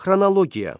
Xronologiya.